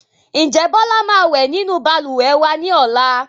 Ǹjẹ́ Bọlá máa wẹ nínú Balùwẹ̀ wa ni ọ̀la?